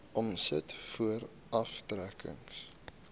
omset voor aftrekkings